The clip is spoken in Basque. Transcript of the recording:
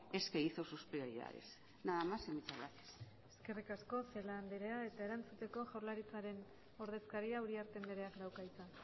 es que hizo sus prioridades nada más y muchas gracias eskerrik asko celaá anderea eta erantzuteko jaurlaritzaren ordezkariak uriarte andereak dauka hitza